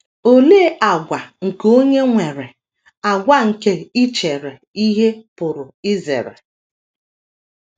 Olee àgwà nke onye nwere àgwà nke ichere ihe pụrụ izere?